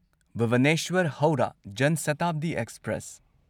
Bhubaneswar Howrah Jan Shatabdi express